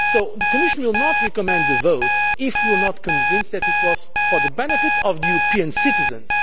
The Commission will not recommend the vote if we are not convinced that it is for the benefit of European citizens.